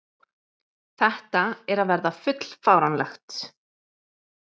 Þetta er að verða full fáránlegt.